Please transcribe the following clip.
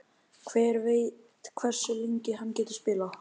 Hver veit hversu lengi hann getur spilað?